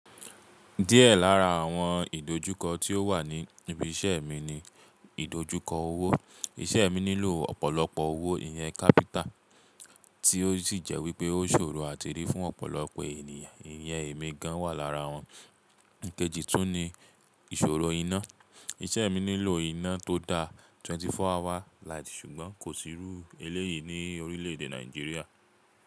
Díẹ̀ lára àwọn ìdojúkọ tí ó wà ní ibi iṣẹ́ mi ni ìdojúkọ owó. Iṣẹ́ mi nílò ọ̀pọ̀lọpọ̀ owó, ìyẹn kápítà, tí ó sì jẹ́ wípé ó ṣòro àti rí fún ọ̀pọ̀lọpọ̀ ènìyàn. Ìyẹn èmi gan wà lára wọn. Ìkejì tún ni ìṣòro iná. Iṣẹ́ mi nílò iná tó dá 24 hours light ṣùgbọ́n kò sì irú eléyìí ní orílẹ̀ èdè Nàìjíríà.